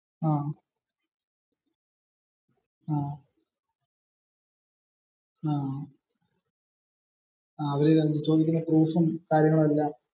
ആഹ് ആഹ്. ഇൻഷുറണിന്റെ proofum കാര്യങ്ങളുമെല്ലാം.